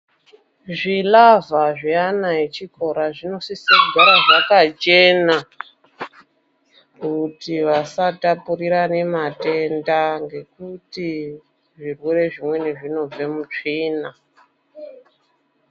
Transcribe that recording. Zvinaa zviya zvechikora zvinosise kugara zvakachena kuti vasatapurirana matenda ngokuti zvirwere zvimweni zvinobva mutsvina.